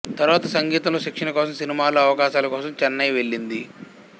తరువాత సంగీతంలో శిక్షణ కోసం సినిమాల్లో అవకాశాల కోసం చెన్నై వెళ్ళింది